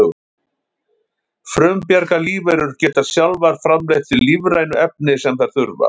frumbjarga lífverur geta sjálfar framleitt þau lífrænu efni sem þær þurfa